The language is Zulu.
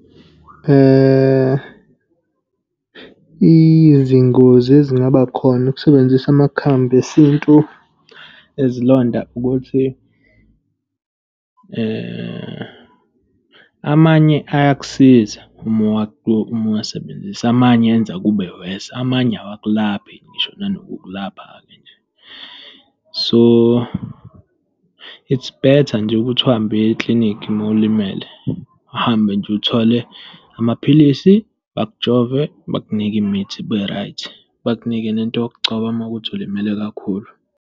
Izingozi ezingaba khona ukusebenzisa amakhambi esintu ezilonda ukuthi amanye ayakusiza uma uwasebenzisa, amanye enza kube worse, amanye awakulaphi ngisho nanokukulapha-ke nje. So, it's better nje ukuthi uhambe uye eklinikhi uma ulimele. Uhambe nje, uthole amaphilisi. Bakujove, bakunike imithi, ube right. Bakunike nento yokugcoba uma kuwukuthi ulimele kakhulu.